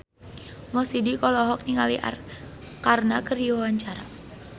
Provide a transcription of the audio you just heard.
Mo Sidik olohok ningali Arkarna keur diwawancara